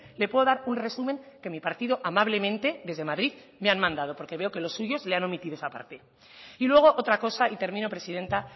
le puede un resumen que mi partido amablemente desde madrid me han mandado porque veo que los suyos le han omitido esa parte y luego otra cosa y termino presidenta